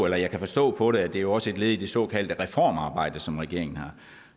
jeg kan forstå på det at det også er et led i det såkaldte reformarbejde som regeringen